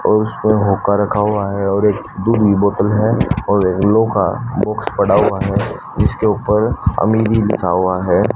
और उसपर होका रखा हुआ है और एक दूरी बोतल है और येलो का बॉक्स पड़ा हुआ है जिसके ऊपर अमीरी लिखा हुआ है।